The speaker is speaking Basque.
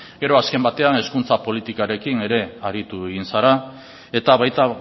gero azken batean hezkuntza politikoarekin ere aritu egin zara eta baita